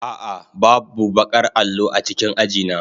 A'a, babu baƙar allo a cikin aji na.